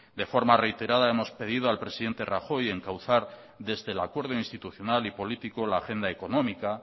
de forma reiterada hemos pedido al presidente rajoy encauzar desde el acuerdo institucional y político la agenda económica